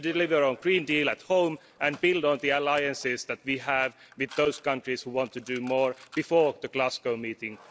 We need to deliver on the Green Deal at home and build on the alliances that we have with those countries that want to do more before the Glasgow meeting.